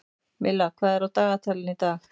Milla, hvað er á dagatalinu í dag?